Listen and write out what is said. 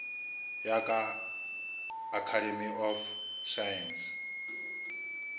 ya ka academy of science